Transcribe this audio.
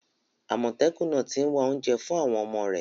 Àmọ̀tẹ́kùn náà ti ń wá oúnjẹ fún àwọn ọmọ rẹ̀.